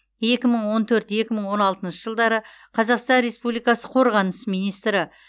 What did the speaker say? екі мың он төрт екі мың он алтыншы жылдары қазақстан республикасы қорғаныс министрі